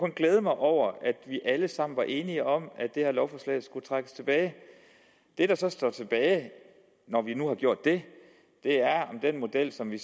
glæde mig over at vi alle sammen var enige om at det her lovforslag skulle trækkes tilbage det der så står tilbage når vi nu har gjort det er om den model som vi